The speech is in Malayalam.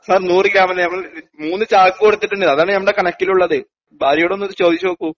സാർ നൂറ് ഗ്രാമല്ല നമ്മള് മൂന്ന് ചാക്ക് കൊടുത്തിട്ടുണ്ട് അതാണ് ഞങ്ങടെ കണക്കിലുള്ളത് ഭാര്യയോടൊന്നത് ചോദിച്ചുനോക്കൂ.